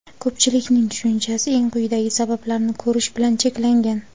Ko‘pchilikning tushunchasi eng quyidagi sabablarni ko‘rish bilan cheklangan.